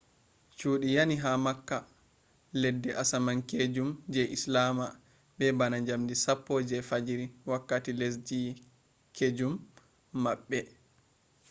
cuudi yani ha mecca leddi asaminkeejum je islama be bana njamdi 10 je fajjiri wakkati lesdin-keejum maɓɓe